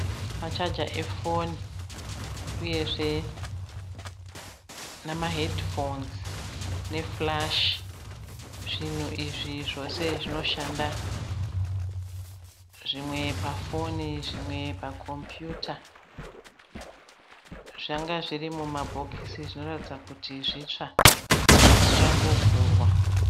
Machager efoni uyezve na mahedhifonzi nefurashi. Zvinhu izvi zvose zvinoshanda zvimwe pafoni zvimwe pakombiyuta. Zvanga zviri mumabhokisi zvinoratidza kuti zvitsva zvichangovhurwa